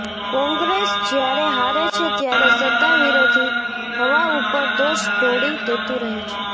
કોંગ્રેસ જ્યારે હારે છે ત્યારે સત્તાવિરોધી હવા ઉપર દોષ ઢોળી દેતુ રહે છે